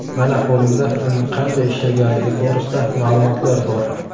Mana qo‘limda uning qanday ishlaganligi to‘g‘risida ma’lumotlar bor.